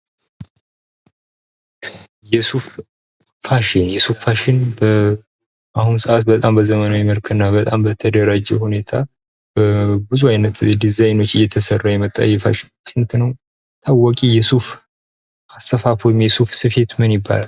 የሱፍ ፋሽን:- የሱፍ ፋሽን በአሁኑ ሰዓት በጣም በዘመናዊ መልክ እና በጣም በተደራጀ ሁኔታ ብዙ አይነት ዲዛይኖች እየተሰራ የመጣ የፋሽን አይነት ነዉ። ታዋቂ የሱፍ አሰፋፍ ወይም የሱፍ ስፌት ምን ይባላል?